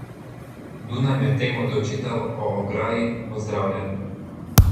Dunaj medtem odločitev o ograji pozdravlja.